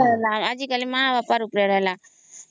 ଆଜିକାଲି ମା ବାପା ର ଉପରେ ରହିଲା